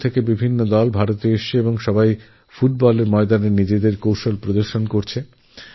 বিশ্বের নানা দেশের টিম এতে অংশগ্রহণ করতে ভারতে এসেছে এবংতাদের ক্রীড়াকৌশল আমাদের মুগ্ধ করেছে